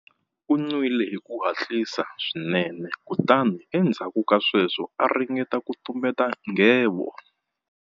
U nwile hi ku hatlisa swinene kutani endzhaku ka sweswo a ringeta ku tumbeta nghevo.